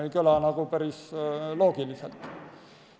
Ei kõla nagu loogiliselt.